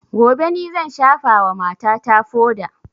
Gobe ni zan shafa wa mata ta foda